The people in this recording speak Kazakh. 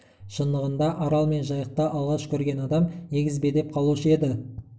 шындығында арал мен жайықты алғаш көрген адам егіз бе деп қалушы еді